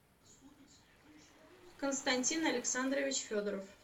константин александрович федоров